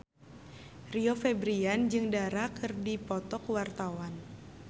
Rio Febrian jeung Dara keur dipoto ku wartawan